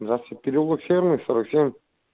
здравствуйте переулок северный сорок семь